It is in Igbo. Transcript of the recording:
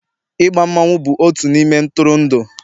I gba mmanwu bụ otu ihe ntụrụndụ